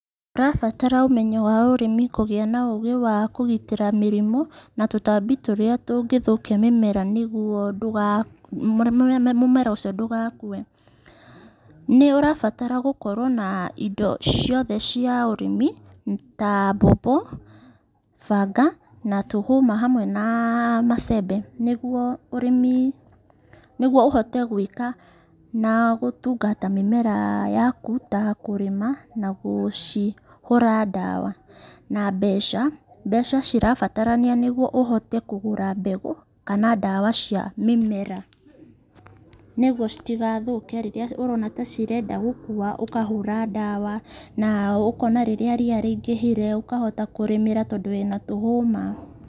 Ũrabatara ũmenyo wa ũrĩmi kũgĩa na ũgĩ wa kũgitĩra mĩrimũ na tũtambi tũrĩa tũngĩũkia mĩmera nĩguo mũmera ũcio ndũgakue. Nĩũrabatra gũkorwo na indo ciothe cia ũrĩmi ta mbombo banga na tũhũma amwe na macembe nĩguo ũrĩmi, nĩguo ũhote gũĩka na gũtungata mĩmera yaku ta kũrĩma na gũcihũra ndawa na mbeca. Mbeca cirabatarania nĩguo ũhote kũgũra mbegũ kana ndawa cia mĩmera nĩguo citigathũke, rĩrĩa ũrona ta cirenda gũkua ũkahũra ndawa na ũkona rĩrĩa ria rĩingĩhire ũkahota kũrĩmĩra tondũ wĩna tũhũma.